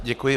Děkuji.